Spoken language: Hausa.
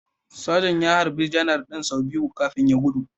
Sajan ya harbi Janar din sau biyu kafin ya gudu